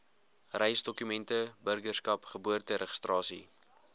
reisdokumente burgerskap geboorteregistrasie